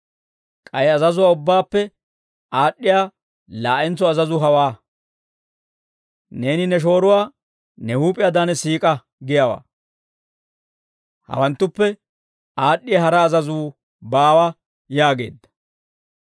K'ay azazuwaa ubbaappe aad'd'iyaa laa'entso azazuu hawaa; ‹Neeni ne shooruwaa ne huup'iyaadan siik'a› giyaawaa; hawanttuppe aad'd'iyaa hara azazuu baawa» yaageedda.